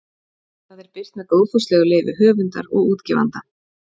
Það er birt með góðfúslegu leyfi höfundar og útgefanda.